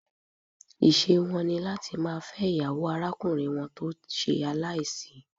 Ìṣe wọn ní láti máa fẹ́ ìyàwó arákùnrin wọn tó ṣe aláìsí.